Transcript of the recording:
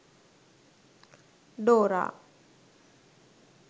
dora